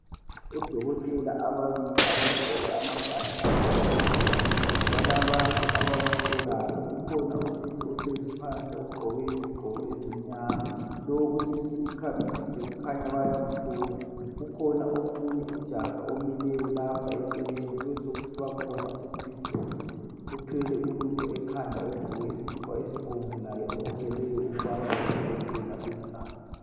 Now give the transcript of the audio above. Odokotela ababili abagqoke amabhatshi amhlophe ,balabantu ababahlolayo. Kukhona usisi ohlezi phansi ogqoke izigqoko ezimnyama ,lowu usisi ukhamisile kukhanya bayamhlola .Kukhona omunye ujaha omileyo lapha eceleni ,kube sokusiba khona usisi othwele ulutho ekhanda ogqoke isikipha esibomvu. Laye obukeleyo ukubana odokotela benzani.